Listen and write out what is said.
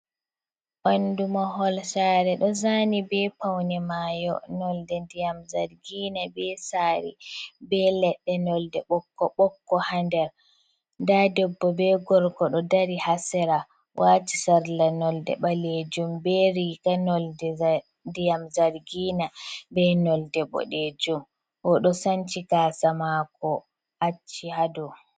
Ɓanndu mahol saare ɗo zaani bee pawne maayo nonɗe ndiyam zargiina bee saare bee leɗɗe nonɗe bokko-bokko haa nder, nda debbo bee gorko ɗo dari haa sera waati sarla nonɗe ɓaleejum bee riika nonɗe ndiyam zargina bee nonɗe boɗeejum ɗo sanci gaasa maako acci haa dow.